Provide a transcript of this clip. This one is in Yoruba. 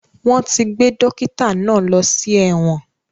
Wọ́n ti gbé dókítà náà lọ sí ẹ̀wọ̀n